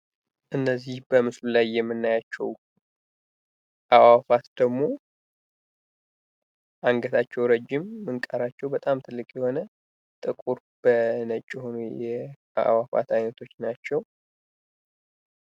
እነዚህ በምስሉ ላይ የምናያቸው አእዋፋት ደግሞ አንገታቸው ረጅም ምንቃራቸው በጣም ትልቅ የሆነ ጥቁር በነጭ የሆኑ የአእዋፋት አይነቶች ናቸው።